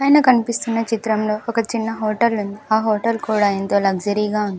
పైన కన్పిస్తున్న చిత్రంలో ఒక చిన్న హోటల్ ఉంది ఆ హోటల్ కూడా ఎంతో లగ్జరీగా ఉంది.